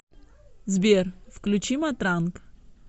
сбер включи матранг